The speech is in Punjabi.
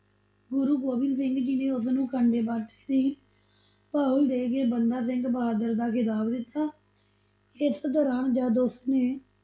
ਗੁਰੂ ਗੋਬਿੰਦ ਸਿੰਘ ਜੀ ਨੇ ਉਸ ਨੂੰ ਖੰਡੇ-ਬਾਟੇ ਦੀ ਪਹੁਲ ਦੇ ਕੇ ਬੰਦਾ ਸਿੰਘ ਬਹਾਦਰ ਦਾ ਖਿਤਾਬ ਦਿਤਾ, ਇਸ ਦੋਰਾਨ ਜਦ ਉਸਨੇ